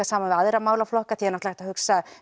saman við aðra málaflokka